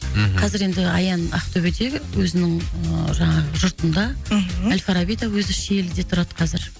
мхм қазір енді аян ақтөбеде өзінің ыыы жаңағы жұртында мхм ал фарабида өзі шиеліде тұрады қазір